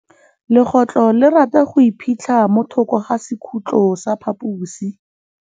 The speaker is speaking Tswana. Legôtlô le rata go iphitlha mo thokô ga sekhutlo sa phaposi.